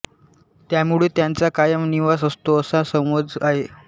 त्यामुळे त्यांचा कायम निवास असतो असा समज आहे